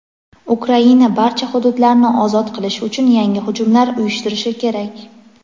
Ukraina barcha hududlarni ozod qilish uchun yangi hujumlar uyushtirishi kerak.